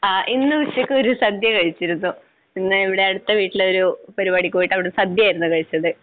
ആ ഇന്ന് ഉച്ചയ്ക്ക് ഒരു സദ്യ കഴിച്ചിരുന്നു. ഇന്ന് ഇവിടെ അടുത്ത വീട്ടിലെ ഒരു പരിപാടിക്ക് പോയിട്ട് അവിടെ നിന്ന് സദ്യ ആയിരുന്നു കഴിച്ചത്.